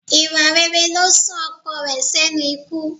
Ìwà rere ló sún ọkọ rẹ̀ sẹ́nu ikú